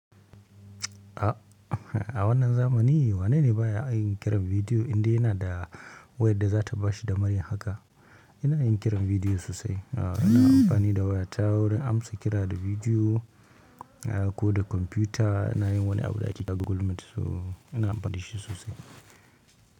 A wannan zamani wanene baya yin kiran bidiyo indai yana da wayar da za ta bashi damar yin haka? Ina yin kiran bidiyo sosai. Ah, ina amfani da wayata wajan amsa kira da bidiyo ko da kwamfuta. Ina yin wani abu da ake kira Google Meet. So ina amfani da shi sosai.